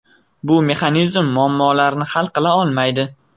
Bu mexanizm muammolarni hal qila olmaydi.